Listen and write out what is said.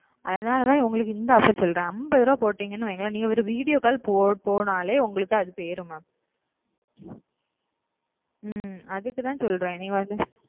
அதனலத உங்களுக்கு இந்த offer சொல்லுற நீக்க ஒரு video call போட்டலே அது போயிடு mam ஓ அப்டியே so அதுக்காத சொல்ற